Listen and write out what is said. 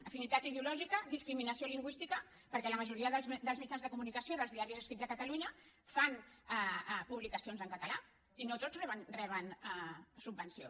afinitat ideològica discriminació lingüística perquè la majoria dels mitjans de comunicació dels diaris escrits a catalunya fan publicacions en català i no tots reben subvenció